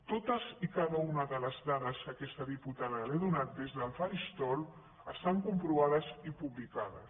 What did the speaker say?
totes i cada una de les dades que aquesta diputada li ha donat des del faristol estan comprovades i publicades